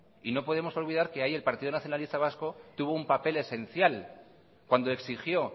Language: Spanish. y no podemos olvidar que ahí el partido nacionalista vasco tuvo un papel esencial cuando exigió